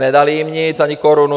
Nedala jim nic, ani korunu.